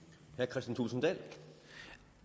totusinde